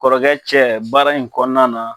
Kɔrɔkɛ cɛ baara in kɔnɔna na